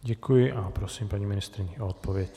Děkuji a prosím paní ministryni o odpověď.